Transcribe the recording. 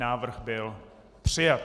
Návrh byl přijat.